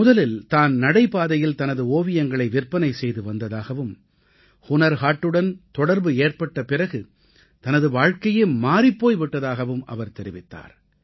முதலில் தான் நடைபாதையில் தனது ஓவியங்களை விற்பனை செய்து வந்ததாகவும் ஹுனர் ஹாட்டுடன் தொடர்பு ஏற்பட்ட பிறகு அவரது வாழ்க்கையே மாறிப் போய் விட்டதாகவும் அவர் தெரிவித்தார்